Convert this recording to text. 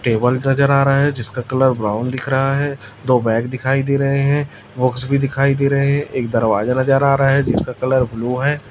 Table नजर आ रहा है जिसका कलर ब्राउन दिख रहा है दो बैग दिखाई दे रहे है बॉक्स भी दिखाई दे रहे एक दरवाजा नजर आ रहा है जिसका कलर ब्लू हैं।